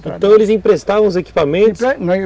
Então eles emprestavam os equipamentos?